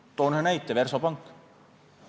Toon ühe näite – Versobank.